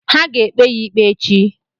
Ha ga-ekpe ya ikpe echi.